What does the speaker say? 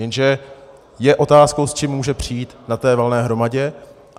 Jenže je otázkou, s čím může přijít na té valné hromadě.